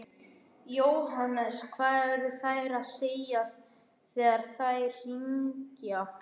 Jóhannes: Hvað eru þær að segja þegar þær hringja?